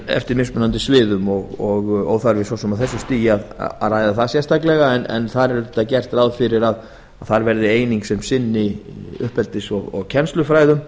eftir mismunandi sviðum en það er óþarfi á þessu stigi að ræða það sérstaklega þar er gert ráð fyrir að ákveðið svið sinni uppeldis og kennslufræðum